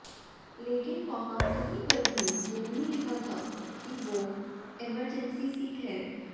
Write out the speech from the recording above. लेकिन वहां कहीं पर भी ये नहीं लिखा था कि वो इमरजेंसी सीट है